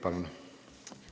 Palun!